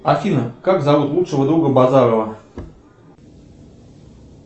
афина как зовут лучшего друга базарова